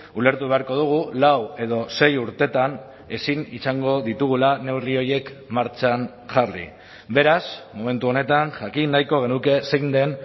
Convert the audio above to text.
ulertu beharko dugu lau edo sei urtetan ezin izango ditugula neurri horiek martxan jarri beraz momentu honetan jakin nahiko genuke zein den